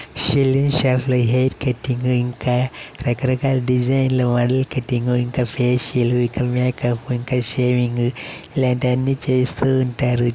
Saloon shop లో hair cutting ఇంకా రక రకాల డిజైన్ ల మోడెల్ కటింగు ఇంకా ఫేషియల్ ఇంకా మేకప్ ఇంకా షేవింగు లాంటివి అన్నీ చేస్తూంటారు.